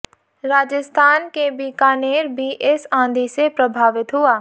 राजस्थान के बीकानेर भी इस आंधी से प्रभावित हुआ